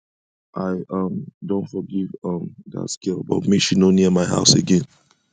i um don forgive um dat girl but make she no near my house again